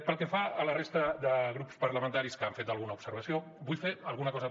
pel que fa a la resta de grups parlamentaris que han fet alguna observació vull fer alguna cosa